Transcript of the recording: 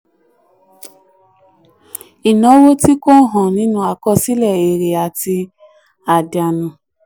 ìnáwó tí kò hàn nínú àkọsílẹ̀ èrè àti àdánù.